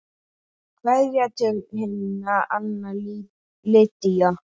Kveðja til himna, Anna Lydía.